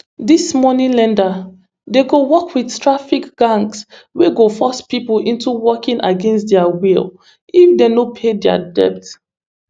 dis money lender dem dey work wit trafficking gangs wey go force pipo into working against dia will if dem no pay dia debt